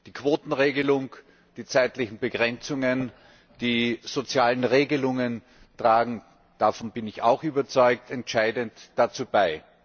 Die Quotenregelung, die zeitlichen Begrenzungen, die sozialen Regelungen tragen davon bin ich auch überzeugt entscheidend dazu bei.